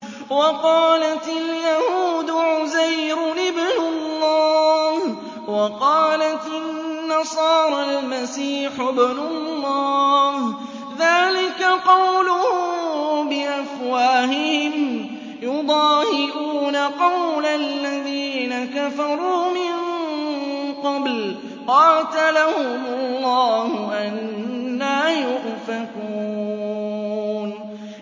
وَقَالَتِ الْيَهُودُ عُزَيْرٌ ابْنُ اللَّهِ وَقَالَتِ النَّصَارَى الْمَسِيحُ ابْنُ اللَّهِ ۖ ذَٰلِكَ قَوْلُهُم بِأَفْوَاهِهِمْ ۖ يُضَاهِئُونَ قَوْلَ الَّذِينَ كَفَرُوا مِن قَبْلُ ۚ قَاتَلَهُمُ اللَّهُ ۚ أَنَّىٰ يُؤْفَكُونَ